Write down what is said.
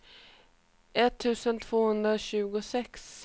etttusen tvåhundratjugosex